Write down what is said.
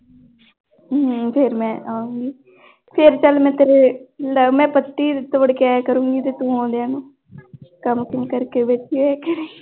ਹਮ ਫਿਰ ਮੈਂ ਆਊਂਗੀ ਫਿਰ ਚੱਲ ਮੈਂ ਤੇਰੇ ਲੈ ਮੈਂ ਪੱਤੀ ਤੋੜ ਕੇ ਆਇਆ ਕਰੂੰਗੀ ਤੇ ਤੂੰ ਆਉਂਦਿਆਂ ਨੂੰ ਕੰਮ ਕੁੰਮ ਕਰਕੇ ਬੈਠੀ ਹੋਇਆ ਕਰੇਂਗੀ।